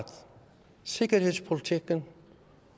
sikkerhedspolitikken